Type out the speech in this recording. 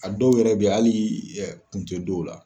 A dɔw yɛrɛ be yen, hali kun tE dɔw la.